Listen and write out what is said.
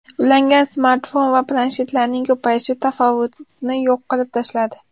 Ulangan smartfon va planshetlarning ko‘payishi tafovutni yo‘q qilib tashladi.